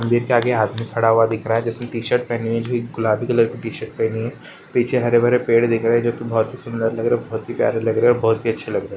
मंदिर के आगे आदमी खड़ा हुआ दिख रहा है जिसकी टी-शर्ट पहनी हुई है। गुलाबी कलर की टी-शर्ट पहनी है। पीछे हरे भरे पेड़ दिख रहे हैं जोकि बहोत ही सुंदर लग रहे हैं। बहोत ही प्यारे लग रहे है। बहोत ही अच्छे लग रहे हैं।